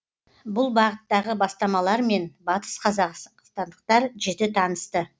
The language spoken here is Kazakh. бұл бағыттағы бастамалармен батысқазақстандықтар жіті танысты